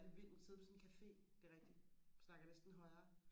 hvor er det vildt og sidde på sådan en cafe det er rigtigt man snakker næsten højere